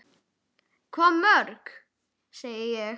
Hvað mörg, segi ég.